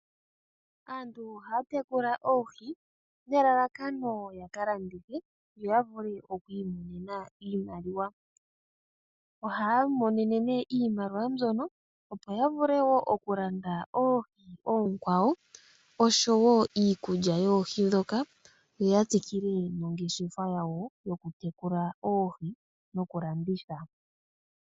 Aantu ohaya tekula oohi nelalakano ya kalandithe yo yavule okwiimonena iimaliwa. Ohaya imonene iimaliwa opo yavule okulanda oohi oonkwawo osho wo iikulya yoohi ndhoka, yo yatsikile nongeshefa yokutekula oohi noku landitha.